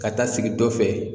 Ka taa sigi dɔ fɛ